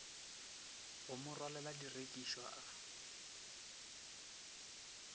go mo rwalela direkišwa a